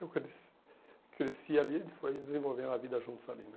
Eu cresci cresci ali e a gente foi desenvolvendo a vida juntos ali, né?